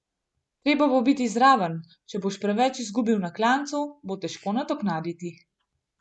Treba bo biti zraven, če boš preveč izgubil na klancu, bo težko nadoknaditi.